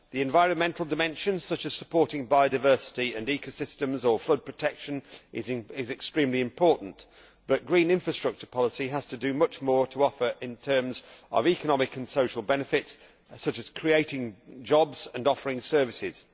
The environmental dimension, such as supporting biodiversity and ecosystems or flood protection, is extremely important, but green infrastructure policy has to offer much more in terms of economic and social benefits, such as creating jobs and offering services.